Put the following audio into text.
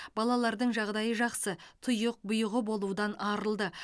балалардың жағдайы жақсы тұйық бұйығы болудан арылды